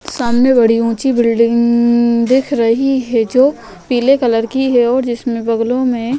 सामने बड़ी ऊंची बिल्डिंग ग दिख रही है जो पीले कलर की और जिसमे बगलों मे --